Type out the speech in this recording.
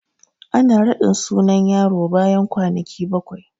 Ana raɗin sunan yaro bayan kwanaki bakwai